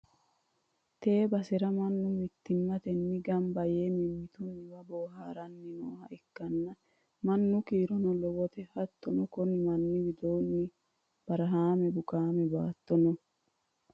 tee basera mannu mittimmatenni gamab yee mimmitunniwa booharanni nooha ikkanna, mannu kiirono lowote, hattono, konni manni widoonni barahaame bukaame baatto no.